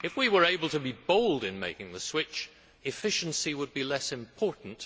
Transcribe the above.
If we were able to be bold in making the switch, efficiency would be less important.